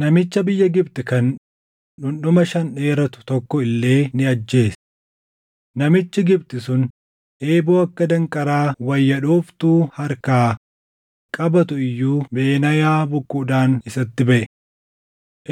Namicha biyya Gibxi kan dhundhuma shan dheeratu tokko illee ni ajjeese. Namichi Gibxi sun eeboo akka danqaraa wayya dhooftuu harkaa qabaatu iyyuu Benaayaa bokkuudhaan isatti baʼe.